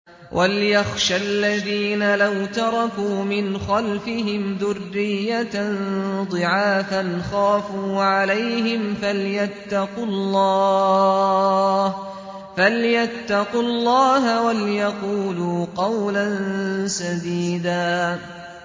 وَلْيَخْشَ الَّذِينَ لَوْ تَرَكُوا مِنْ خَلْفِهِمْ ذُرِّيَّةً ضِعَافًا خَافُوا عَلَيْهِمْ فَلْيَتَّقُوا اللَّهَ وَلْيَقُولُوا قَوْلًا سَدِيدًا